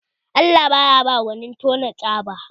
Allah baya ba gwanin tona tsaba